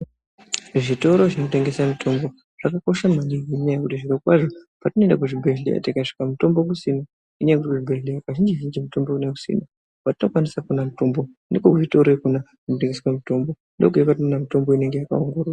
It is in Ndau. Zvitoro zvinotengese mitombo zvakakosha maningi ngenyaya yekuti zvirokwazvo patinoenda kuzvibhehleya tikasvika mutombo kusina ngenyaya yekuti kuzvibhehleya kazhinji zhinji mutombo kunenge kusina kwatinokwanise kuona mutombo ndiko kuzvitoroyo kona kunotengeswa mutombo kwayiona mitombo inenge yakaongororwa.